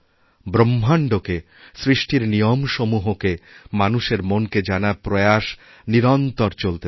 ব্রহ্মাণ্ডকে সৃষ্টির নিয়মসমূহকে মানুষেরমনকে জানার প্রয়াস নিরন্তর চলতে থাকে